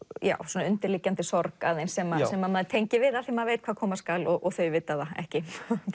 svona undirliggjandi sorg aðeins sem sem maður tengir við af því maður veit hvað koma skal og þau vita það ekki